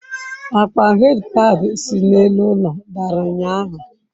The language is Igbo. Akpa headpad si n'elu ụlọ dara ụnyahụ.